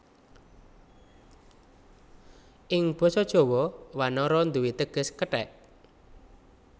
Ing Basa Jawa wanara nduwé teges kethèk